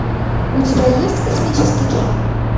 у тебя есть космический джем